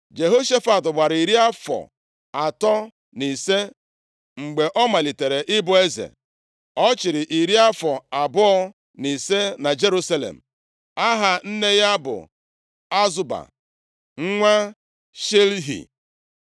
Jehoshafat gbara iri afọ atọ na ise mgbe ọ malitere ịbụ eze. Ọ chịrị iri afọ abụọ na ise na Jerusalem. Aha nne ya bụ Azuba, nwa Shilhi.